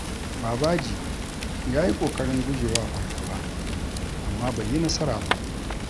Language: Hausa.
Babaji ya yi ƙoƙarin guje wa fargaba, amma bai yi nasara ba.